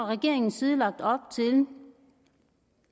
regeringens side lagt op til